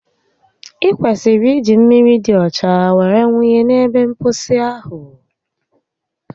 i kwesịrị iji mmiri di ọcha were wunye n'ebe mposi ahụ